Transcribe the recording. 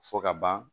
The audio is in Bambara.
Fɔ ka ban